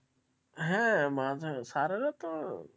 হ্যাঁ মানে স্যারেরা তো,